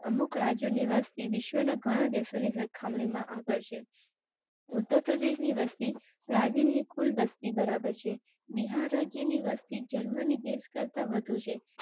અમુક રાજ્યો ની વસ્તી વિશ્વના ઘણા દેશો ની સરખામણી માં આગળ. ઉત્તર પ્રદેશ ની વસતી પ્રાચીન ને કુલ વસ્તી બરાબર છે. બિહાર રાજ્ય ની વસતી જર્મની ડેશ કરતાં વધુ